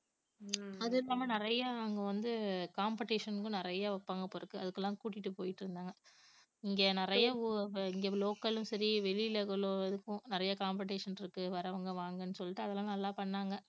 அதில்லாம நிறைய அங்க வந்து competition க்கும் நிறைய வைப்பாங்க போல இருக்கு, அதுக்குல்லாம் கூட்டிட்டு போயிட்டுருந்தாங்க இங்க நிறைய லோ~ இங்க local லயும் சரி வெளியில அவ்வளவு இதுக்கும் நிறைய competition இருக்கு வர்றவங்க வாங்கன்னு சொல்லிட்டு அதெல்லாம் நல்லா பண்ணாங்க